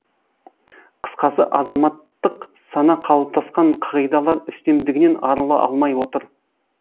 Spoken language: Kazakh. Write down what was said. қысқасы азаматтық сана қалыптасқан қағидалар үстемдігінен арыла алмай отыр